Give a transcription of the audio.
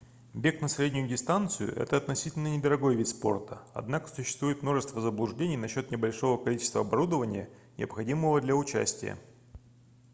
бег на среднюю дистанцию это относительно недорогой вид спорта однако существует множество заблуждений насчёт небольшого количества оборудования необходимого для участия